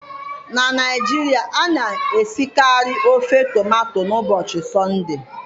Na Naijiria, a na-esikarị ofe tomato n'ụbọchị Sọnde